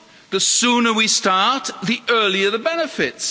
The sooner we start, the earlier the benefits.